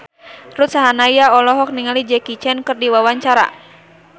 Ruth Sahanaya olohok ningali Jackie Chan keur diwawancara